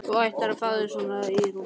Þú ættir að fá þér svona í rúgbrauðið!